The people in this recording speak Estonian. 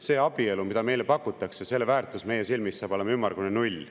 Selle abielu väärtus, mida meile pakutakse, saab meie silmis olema ümmargune null.